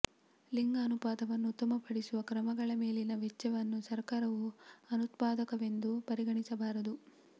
ಲಿಂಗ ಅನುಪಾತವನ್ನು ಉತ್ತಮಪಡಿಸುವ ಕ್ರಮಗಳ ಮೇಲಿನ ವೆಚ್ಚವನ್ನು ಸರ್ಕಾರವು ಅನುತ್ಪಾದಕವೆಂದು ಪರಿಗಣಿಸಬಾರದು